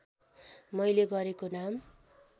मैले गरेको नाम